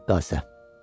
Rəqqasə.